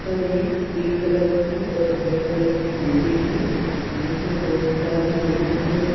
ऊपर एक pink colour के और वाइट कलर की बिल्डिंग है जिसमें बहुत सारे विंडो लगी--